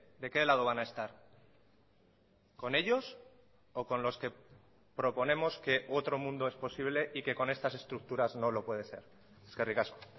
de qué lado van a estar con ellos o con los que proponemos que otro mundo es posible y que con estas estructuras no lo puede ser eskerrik asko